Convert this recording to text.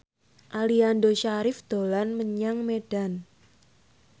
Aliando Syarif dolan menyang Medan